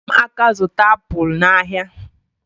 Nyere m aka zụta apụl n'ahịa